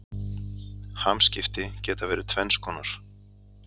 Hamskipti geta verið tvenns konar.